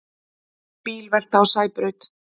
Bílvelta á Sæbraut